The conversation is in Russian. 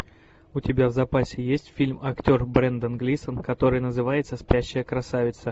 у тебя в запасе есть фильм актер брендан глисон который называется спящая красавица